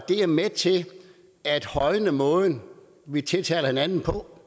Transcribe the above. er med til at højne den måde vi tiltaler hinanden på